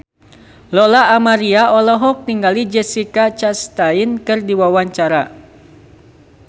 Lola Amaria olohok ningali Jessica Chastain keur diwawancara